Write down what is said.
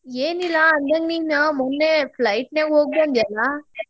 ಏನಿಲ್ಲಾ ಹಂಗ ನೀನ್ ಮೊನ್ನೇ flight ನಾಗ್ ಹೋಗಿ ಬಂದ್ಯಲ್ಲಾ.